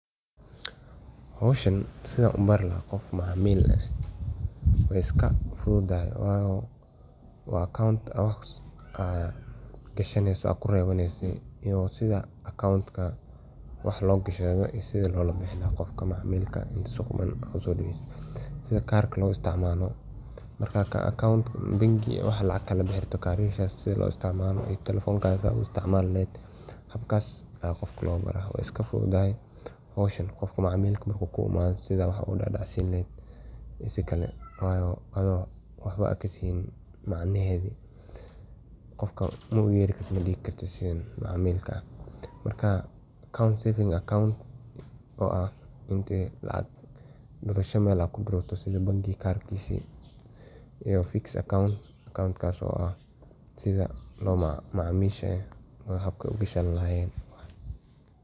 Hoowshan sidhan ubari laha qof macaamiil ah wey iskafudhudhahay waayo wa account adh wax gishaneyso aadh kurebaneyso iyo sidha account wax logashidho iyo sidha lolabixi laha qofka macmiilka intas kubari laha sitha card lo isticmaalo marka account bank wax lacag kalabixi rabto kaar yashas sitha lo isticmaalo iyo talefonkaga sitha oga istimali laheydh habkas aya qofka lobara wey iskafuthudhahay howshan qofka macaamiilka marku kuimadho sitha wax oga daadacsiin laheydh iyo si kale wayo adhigo waxbo kaseeynin micnaheedhi qofka ma uyeeri kartidh madihi kartidh sithan macamiilka marka account saving account oo ah inti lacag durasho meel aadh kuduratay sitha bangiga karkiisi iyo fix account kaas oo ah sitha macaamisha habka ugishan lahaayen